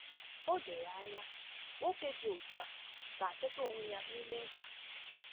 O doro anya, nwoke dị otu a ga-achọta onwe ya n’ime mkpa.